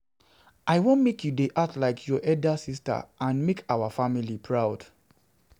I wan make you dey act like your elder sister and make our our family proud